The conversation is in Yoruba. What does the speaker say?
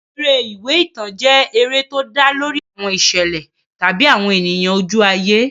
Eré ìwé ìtàn jẹ́ eré tó dá lórí àwọn ìṣẹ̀lẹ̀ tàbí àwọn ènìyàn ojú ayé.